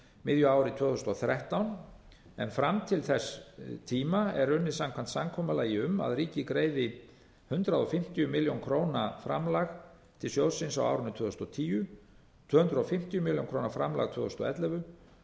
miðju ári tvö þúsund og þrettán en fram til þess tíma er unnið samkvæmt samkomulagi um að ríkið greiði hundrað fimmtíu milljónir króna framlag til sjóðsins á árinu tvö þúsund og tíu tvö hundruð fimmtíu milljónir króna framlag árið tvö þúsund og ellefu